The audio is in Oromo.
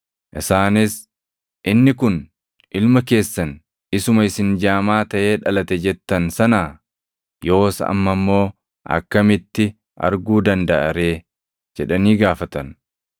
Isaanis, “Inni kun ilma keessan isuma isin jaamaa taʼee dhalate jettan sanaa? Yoos amma immoo akkamitti arguu dandaʼa ree?” jedhanii gaafatan.